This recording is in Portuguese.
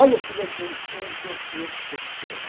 Olha como é que o inconsciente funciona.